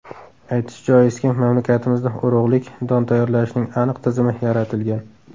Aytish joizki, mamlakatimizda urug‘lik don tayyorlashning aniq tizimi yaratilgan.